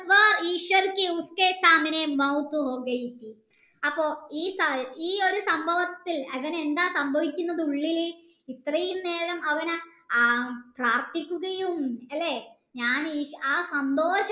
V അപ്പൊ ഈ ഒരു സംഭവത്തിൽ അവന് എന്താ സംഭവിക്കുന്നത് ഉള്ളിൽ ഇത്രയും നേരം അവൻ ആയ പ്രാർത്ഥിക്കുകയും അല്ലെ ഞാൻ ഈ ആ സംഭവം